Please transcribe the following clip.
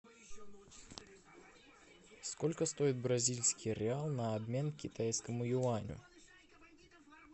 сколько стоит бразильский реал на обмен китайскому юаню